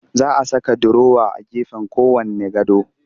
Za a saka durowa a gefen kowanne gado